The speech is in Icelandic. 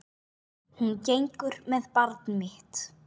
Hún gengur með barn mitt.